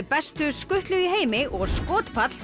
bestu skutlu í heimi og